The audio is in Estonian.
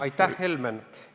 Aitäh!